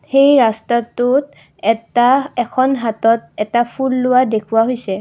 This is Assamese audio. এই ৰাস্তাটোত এটা এখন হাতত এটা ফুল লোৱা দেখুওৱা হৈছে।